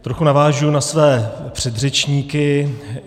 Trochu navážu na své předřečníky.